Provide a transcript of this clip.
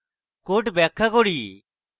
code ব্যাখ্যা করি